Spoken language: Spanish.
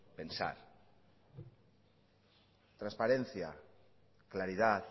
pensar transparencia claridad